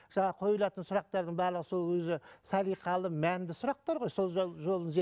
жаңағы қойлатын сұрақтардың барлығы сол өзі салиқалы мәнді сұрақтар ғой сол жолын